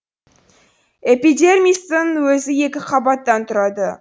эпидермистің өзі екі қабаттан тұрады